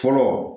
Fɔlɔ